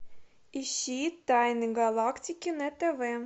ищи тайны галактики на тв